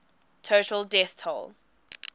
total death toll